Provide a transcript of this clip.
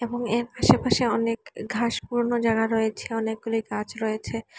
এবং এর আশেপাশে অনেক ঘাস পুরানো জায়গা রয়েছে অনেকগুলি গাছ রয়েছে।